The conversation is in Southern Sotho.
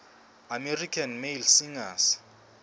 american male singers